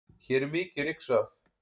hér er mikið ryksugað